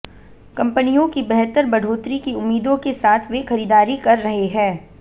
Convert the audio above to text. कंपनियों की बेहतर बढ़ोतरी की उम्मीदों के साथ वे खरीदारी कर रहे हैं